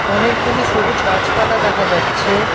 অনেকগুলি সবুজ গাছপালা দেখা যাচ্ছে।